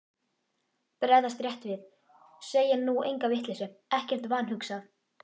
Bregðast rétt við, segja nú enga vitleysu, ekkert vanhugsað.